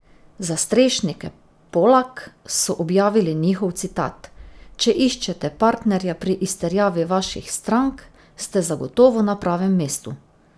Za Strešnike Polak so objavili njihov citat: "Če iščete partnerja pri izterjavi vaših strank, ste zagotovo na pravem mestu.